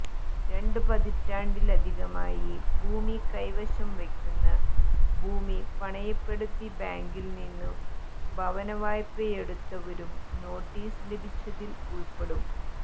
രണ്ടു പതിറ്റാണ്ടിലധികമായി ഭൂമി കൈവശം വയ്ക്കുന്ന ഭൂമി പണയപ്പെടുത്തി ബാങ്കിൽനിന്നു ഭവനവായ്പയെടുത്തവരും നോട്ടീസ് ലഭിച്ചതിൽ ഉൾപ്പെടും